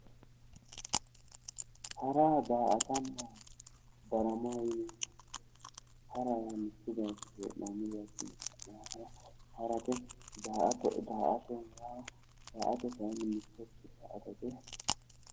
Hara, daa"atanna darama. Hara yaa mittu bayichinni hee'noonni bayichinni ka'ne harate. Daa"atate kayinni mittoricho daa"atate.